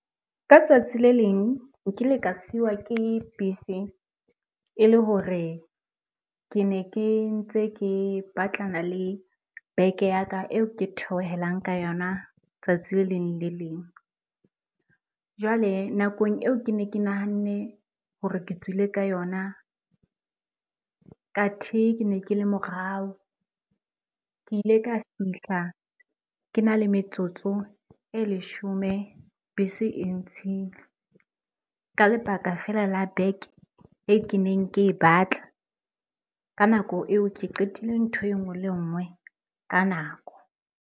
Ka tsatsi le leng nkile ka siwa ke bese ele hore ke ne ke ntse ke batlana le beke ya ka eo ke theohelang ka yona tsatsi le leng le leng. Jwale nakong eo ke ne ke nahanne hore ke tswile ka yona, kathe ke ne ke le morao. Ke ile ka fihla ke na le metsotso e leshome bese e ntshile, ka lebaka feela la beke e keneng ke e batla. Ka nako eo ke qetile ntho e nngwe le nngwe ka nako.